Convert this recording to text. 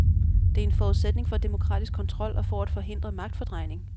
Det er en forudsætning for demokratisk kontrol og for at forhindre magtfordrejning.